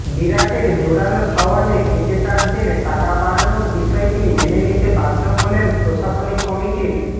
বিরাটের জোরালো সওয়ালে ক্রিকেটারদের টাকা বাড়ানোর বিষয়টি মেনে নিতে বাধ্য হলেন প্রশাসনিক কমিটির